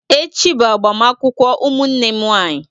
Echi bụ agbamakwụkwọ ụmụnne m nwanyị.